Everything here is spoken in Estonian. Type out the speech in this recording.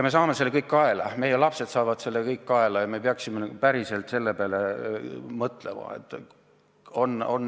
Me saame selle kõik kaela, meie lapsed saavad selle kõik kaela ja me peaksime päriselt selle peale mõtlema.